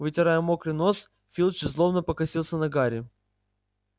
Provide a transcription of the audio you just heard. вытирая мокрый нос филч злобно покосился на гарри